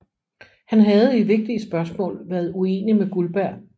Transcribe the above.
Han havde i vigtige spørgsmål været uenig med Guldberg